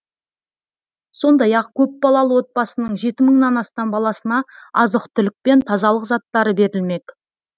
сондай ақ көпбалалы отбасының жеті мыңнан астам баласына азық түлік пен тазалық заттары берілмек